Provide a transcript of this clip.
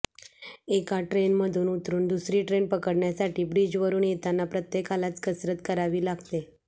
एका ट्रेनमधून उतरून दुसरी ट्रेन पकडण्यासाठी ब्रिजवरून येताना प्रत्येकालाच कसरत करावी लागते